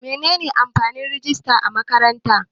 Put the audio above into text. Menene amfanin rijista a makaranta?